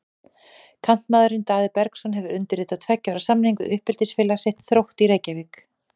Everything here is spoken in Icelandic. Kantmaðurinn Daði Bergsson hefur undirritað tveggja ára samning við uppeldisfélag sitt, Þrótt í Reykjavík.